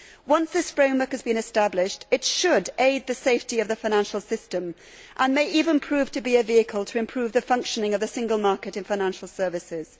Once this framework has been established, it should aid the safety of the financial system and may even prove to be a vehicle to improve the functioning of the single market in financial services.